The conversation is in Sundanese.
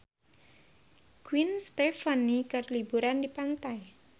Gwen Stefani keur liburan di pantai